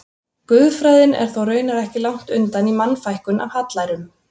Guðfræðin er þó raunar ekki langt undan í Mannfækkun af hallærum.